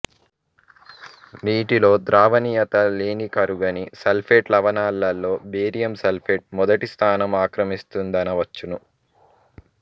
నీటిలో ద్రావణియత లేనికరుగని సల్ఫేట్ లవణాలలో బేరియం సల్ఫేట్ మొదటి స్థానం ఆక్రమిస్తుం దనవచ్చును